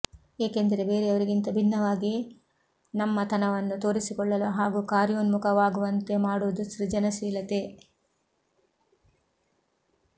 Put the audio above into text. ಏಕೆಂದರೆ ಬೇರೆಯವರಿಗಿಂತ ಭಿನ್ನವಾಗಿ ನಮ್ಮ ತನವನ್ನು ತೋರಿಸಿಕೊಳ್ಳಲು ಹಾಗೂ ಕಾರ್ಯೋನ್ಮುಖವಾಗುವಂತೆ ಮಾಡುವುದು ಸೃಜನಶೀಲತೆ